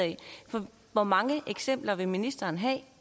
hvor mange eksempler vil ministeren have